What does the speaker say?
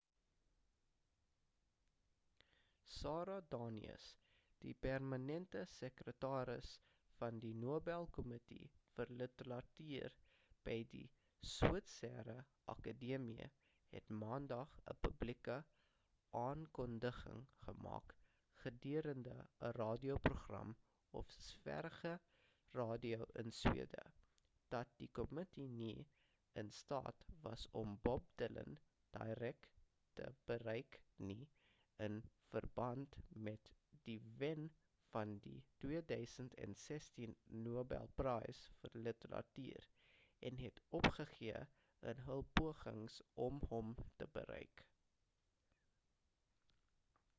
sara danius die permanente sekretaris van die nobel kommitee vir literatuur by die switserse akedemie het maandag 'n publieke aankondiging gemaak gedurende 'n radio program op sveriges radio in swede dat die kommitee nie in staat was om bob dylan direk te bereik nie in verband met die wen van die 2016 nobel prys vir literatuur en het opgegee in hul pogings om hom te bereik